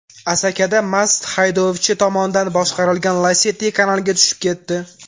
Asakada mast haydovchi tomonidan boshqarilgan Lacetti kanalga tushib ketdi.